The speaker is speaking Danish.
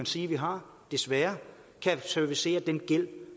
sige vi har desværre kan servicere den gæld